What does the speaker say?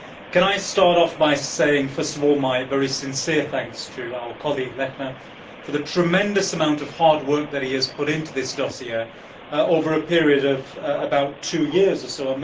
Can I start off by saying, first of all, my very sincere thanks to our colleague Mr Lechner for the tremendous amount of hard work that he has put into this dossier over a period of about two years or so?